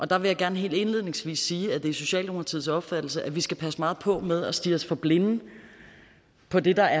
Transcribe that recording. der vil jeg gerne helt indledningsvis sige at det er socialdemokratiets opfattelse at vi skal passe meget på med at stirre os for blinde på det der